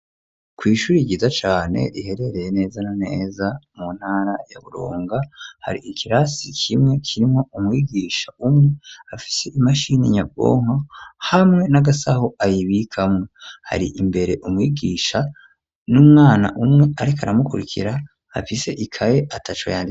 Kw'ishuri ryiza cane riherereye neza neza mu ntara ya Burunga, har'ikirasi kimwe kirimwo umwigisha umwe afise imashini nyabwonko hamwe n'agasaho ayibikamwo, hari imbere umwigisha n'umwana umwe ariko aramukurikira afise ikaye ataco